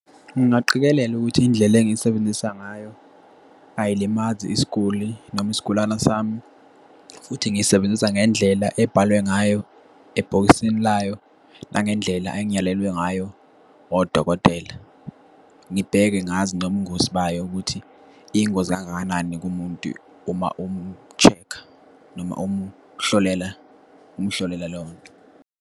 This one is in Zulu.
Ngingaqikelela ukuthi indlela engiyisebenzisa ngayo ayilimazi isiguli noma isigulana sami, futhi ngiyisebenzisa ngendlela ebhalwe ngayo ebhokisini layo, nangendlela engiyalelwe ngayo odokotela. Ngibheke, ngazi, nobungozi bayo, ukuthi iyingozi kangakanani kumuntu uma umu-check-a noma umhlolela, umhlolela leyo nto.